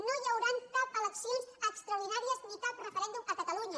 no hi hauran eleccions extraordinàries ni cap referèndum a catalunya